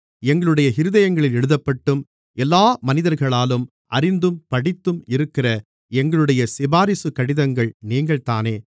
எங்களுடைய இருதயங்களில் எழுதப்பட்டும் எல்லா மனிதர்களாலும் அறிந்தும் படித்தும் இருக்கிற எங்களுடைய சிபாரிசுக் கடிதங்கள் நீங்கள்தானே